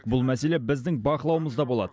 бұл мәселе біздің бақылауымызда болады